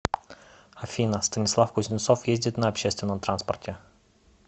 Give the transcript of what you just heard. афина станислав кузнецов ездит на общественном транспорте